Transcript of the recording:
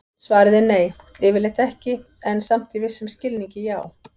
Svarið er nei, yfirleitt ekki, en samt í vissum skilningi já!